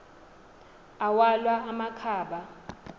awalwa ama khaba